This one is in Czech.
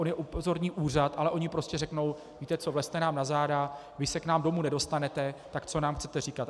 On je upozorní úřad, ale oni prostě řeknou: Víte co, vlezte nám na záda, vy se k nám domů nedostanete, tak co nám chcete říkat.